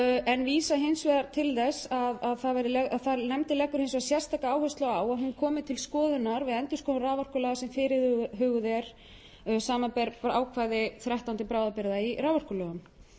en vísað hins vegar til þess að nefndin leggur hins vegar sérstaka áherslu á að hún komi til skoðunar við endurskoðun raforkulaga sem fyrirhuguð er samanber ákvæði þrettán til bráðabirgða í raforkulögunum